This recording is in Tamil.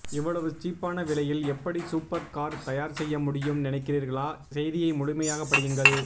இவ்வளவு சீப்பான விலையில் எப்படி சூப்பர் கார் தயார் செய்ய முடியும் நினைக்கிறீர்களா செய்தியை முழுமையாக படியுங்கள்